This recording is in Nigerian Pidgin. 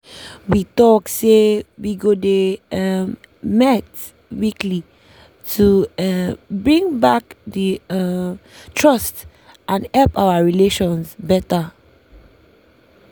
we talk say we go dey um met weekly to um bring back the um trust and help our relations better.